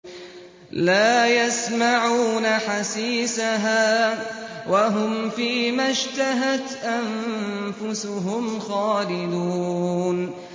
لَا يَسْمَعُونَ حَسِيسَهَا ۖ وَهُمْ فِي مَا اشْتَهَتْ أَنفُسُهُمْ خَالِدُونَ